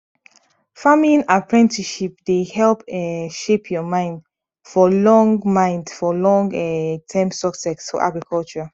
farming apprenticeship dey help um shape your mind for long mind for long um term success for agriculture